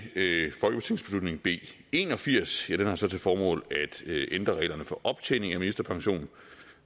folketingsbeslutning b en og firs har så til formål at ændre reglerne for optjening af ministerpension